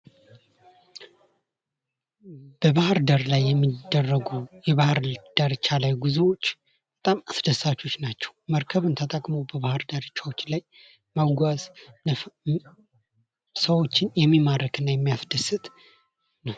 በባህርዳር ላይ የሚደረጉ የባህር ዳርቻ ላይ ጉዞዎች በጣም አስደሳቾች ናቸው መርከብን ተጠቅሞ ባህር ዳርቻዎች ላይ መጓዝ ሰዎችን የሚማርክና የሚያስደስት